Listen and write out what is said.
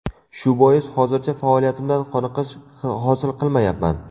Shu bois, hozircha faoliyatimdan qoniqish hosil qilmayapman.